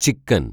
ചിക്കന്‍